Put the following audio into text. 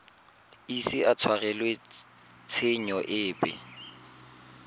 ise a tshwarelwe tshenyo epe